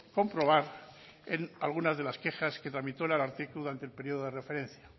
comprobar en algunas de las quejas que tramitó el ararteko durante el periodo de referencia